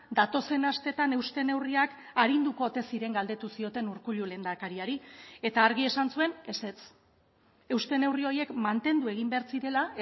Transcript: datozen astetan euste neurriak arinduko ote ziren galdetu zioten urkullu lehendakariari eta argi esan zuen ezetz euste neurri horiek mantendu egin behar zirela